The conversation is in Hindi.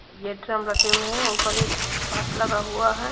ये ड्रम रखे हुए हैं और ऊपर एक झाश लगा हुआ है।